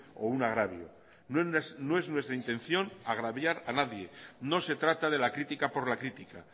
o un agravio no es nuestra intención agraviar a nadie no se trata de la crítica por la crítica